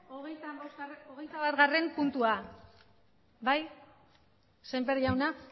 hogeita batgarrena puntua bai semper jauna